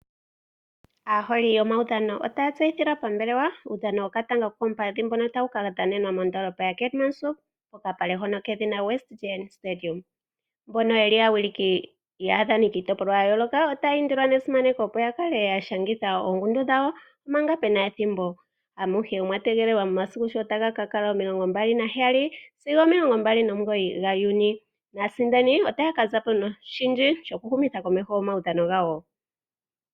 Aaholi yomawuudhano otaya tseyi thilwa pambelewa uudhani wokatanga ko kopadhi mboka tawu kadhanenwa mondoolopa yakaiti(katimanshop) kokapale kedhina westdene stadium .Mbono yeli awiliki ya yoloka otayi indilwa nesimaneko opo yakale yashangitha oongundu dhawo manga pena ethimbo. Amuhe omwa tegelelwa momasiku sho taga kakala omilongi mbaali nagaheyali(27)sigo (29) gaJuni nasindani otaka zapo noshindji okuhu mitha komeho omawuudhano gawo.